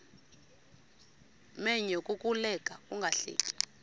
menyo kukuleka ungahleki